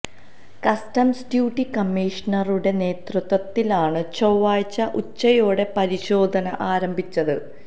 customs deputy കമ്മീഷണറുടെ നേതൃത്വത്തിലാണ് ചൊവ്വാഴ്ച ഉച്ചയോടെ പരിശോധന ആരംഭിച്ചത്